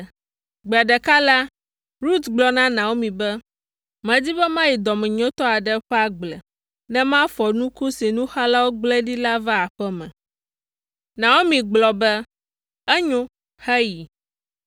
Gbe ɖeka la, Rut gblɔ na Naomi be, “Medi be mayi dɔmenyotɔ aɖe ƒe agble ne mafɔ nuku si nuxalawo gblẽ ɖi la va aƒe me.” Naomi gblɔ be, “Enyo; heyi.”